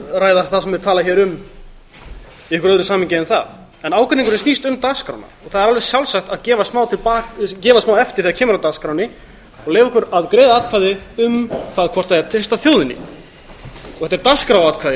ræða það sem er talað hér um í einhverju öðru samhengi en það en ágreiningurinn snýst um dagskrána það er alveg sjálfsagt að gefa smá eftir þegar kemur að dagskránni og eða okkur að greiða atkvæði um það hvort það eigi að treysta þjóðinni þetta er dagskráratkvæði